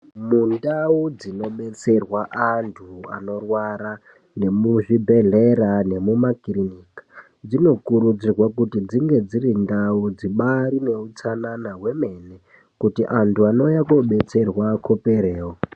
Mundau dzinodetserwa anthu anorwara nemuzvibhedhlera nemumakirinika dzinokuridzirwa kuti dzinge dziri ndau dzibaari neutsanana hwemene kuti anthu anouya koobetserwa akhoperewo.